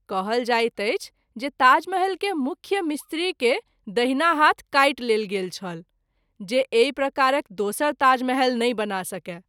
कहल जाइत अछि जे ताजमहल के मुख्य मिस्त्री के दाहिना हाथ काटि लेल गेल छल जे एहि प्रकारक दोसर ताजमहल नहिं बना सकय।